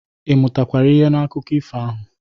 Ị mụtakwara ihe n'akụkọ ifo ahụ?